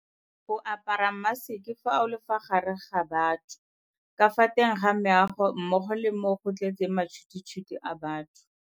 O apara maseke fa o le fa gare ga batho ka fa teng ga meago mmogo le mo go tletseng matšhwititšhwiti a batho.